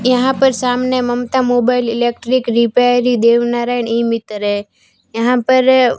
यहां पर सामने Mamata mobile electric repairing Dev Narayan इ मितरे यहां पर--